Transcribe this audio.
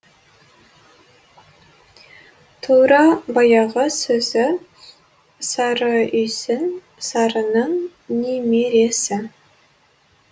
тура баяғы сөзі сары үйсін сарының немересі